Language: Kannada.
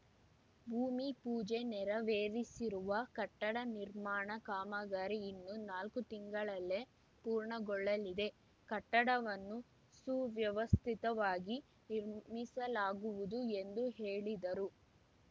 ಭೂಮಿಪೂಜೆ ನೆರವೇರಿಸಿರುವ ಕಟ್ಟಡ ನಿರ್ಮಾಣ ಕಾಮಗಾರಿ ಇನ್ನು ನಾಲ್ಕು ತಿಂಗಳಲ್ಲೇ ಪೂರ್ಣಗೊಳ್ಳಲಿದೆ ಕಟ್ಟಡವನ್ನು ಸುವ್ಯವಸ್ಥಿತವಾಗಿ ನಿರ್ಮಿಸಲಾಗುವುದು ಎಂದು ಹೇಳಿದರು